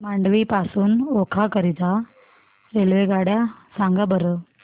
मांडवी पासून ओखा करीता रेल्वेगाड्या सांगा बरं